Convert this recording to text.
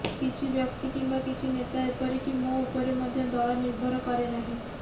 କିଛି ବ୍ୟକ୍ତି କିମ୍ବା କିଛି ନେତା ଏପରିକି ମୋ ଉପରେ ମଧ୍ୟ ଦଳ ନିର୍ଭର କରେ ନାହିଁ